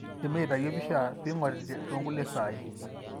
Kindimi atayu empisha pingori tonkulie sai.